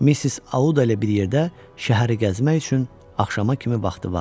Missis Auda ilə bir yerdə şəhəri gəzmək üçün axşama kimi vaxtı vardı.